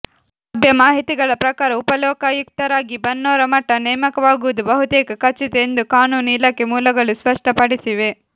ಲಭ್ಯ ಮಾಹಿತಿಗಳ ಪ್ರಕಾರ ಉಪಲೋಕಾಯುಕ್ತರಾಗಿ ಬನ್ನೂರಮಠ ನೇಮಕವಾಗುವುದು ಬಹುತೇಕ ಖಚಿತ ಎಂದು ಕಾನೂನು ಇಲಾಖೆ ಮೂಲಗಳು ಸ್ಪಷ್ಟಪಡಿಸಿವೆ